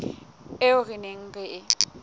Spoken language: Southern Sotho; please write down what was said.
eo re neng re e